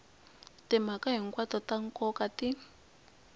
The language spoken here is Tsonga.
timhaka hinkwato ta nkoka ti